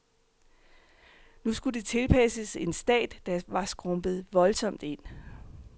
Nu skulle det tilpasses en stat, der var skrumpet voldsomt ind.